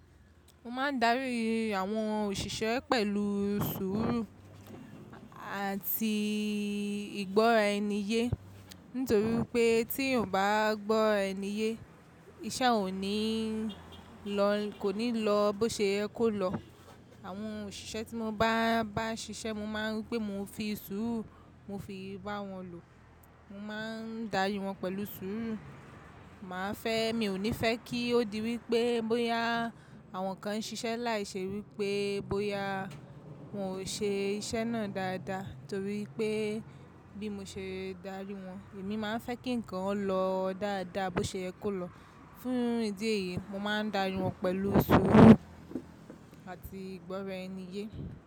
Mo máa ń darí àwọn òṣìṣẹ́ pẹ̀lú sùúrù àti ìgbọ́raẹniyé. Nítorí pé tí eeyan o bá gbọ́raẹniyé, iṣẹ́ ò ní lọ, kò ní lọ bó ṣe ẹ kó lọ. Àwọn òṣìṣẹ́ tí mo bá, bá ṣiṣẹ́, mo máa ń rí pé mo fi sùúrù, mo fi bá wọn lò. Mo má ń darí wọn pẹ̀lú sùúrù. Màá fẹ́, mi ò ní fẹ́ kí ó di wí pé bóyá àwọn kan ń ṣiṣẹ́ láìṣe wí pé bóyá wọ́n ò ṣe iṣẹ́ náà dáadáa. Nítorí pé bí mo ṣe darí wọn, èmi máa ń fẹ́ kí ǹkan ó lọ dáadáa bó ṣe yẹ kó lọ. Fún ìdí èyí, mo má ń darí wọn pẹ̀lú sùúrù àti ìgbọ́raẹniyé.